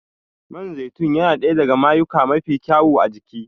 Man zaitun yana ɗaya daga mayuyuka mafi kyau a jiki